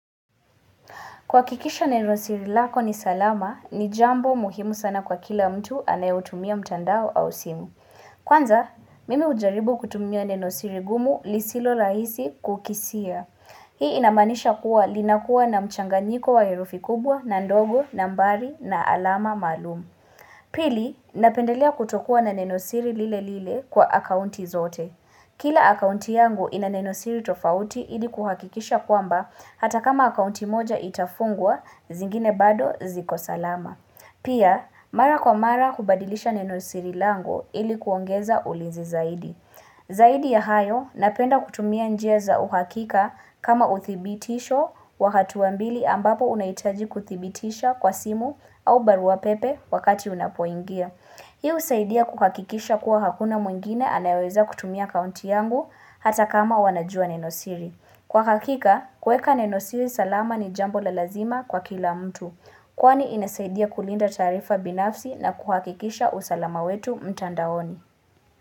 Kwa kikisha nenosiri lako ni salama, ni jambo muhimu sana kwa kila mtu anayotumia mtandao au simu. Kwanza, mimi ujaribu kutumia nenosiri gumu lisilo rahisi kukisia. Hii inamanisha kuwa linakuwa na mchanganyiko wa herufi kubwa na ndogo, nambari na alama malumu. Pili, napendelea kutokuwa na nenosiri lile lile kwa akaunti zote. Kila akaunti yangu ina nenosiri tofauti ili kuhakikisha kwamba hata kama akaunti moja itafungwa zingine bado ziko salama. Pia mara kwa mara kubadilisha nenosiri lango ili kuongeza ulinzi zaidi. Zaidi ya hayo napenda kutumia njeza uhakika kama uthibitisho wakatua mbili ambapo unaitaji kuthibitisha kwa simu au barua pepe wakati unapuingia. Hiu usaidia kukakikisha kuwa hakuna mwingine anayoweza kutumia kaunti yangu hata kama wanajua nenosiri. Kwa kakika, kweka nenosiri salama ni jambo la lazima kwa kila mtu. Kwani inasaidia kulinda taarifa binafsi na kukakikisha usalama wetu mtandaoni.